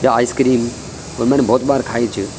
या आइसक्रीम और मैंने बहौत बार खायीं च।